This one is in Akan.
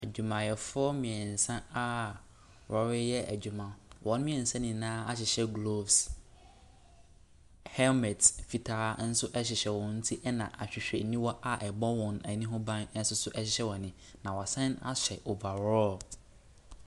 Adwumayɛfoɔ mmiɛnsa a wɔreyɛ adwuma, wɔn mmiɛnsa nyinaa ahyehyɛ gloves, helmet fitaa ɛhyehyɛ wɔn ti ɛna ahwehwɛniwa a ɛbɔ wɔn ani ho ban nso ɛhyehyɛ wɔn ani. Na wɔasane ahyɛ overall.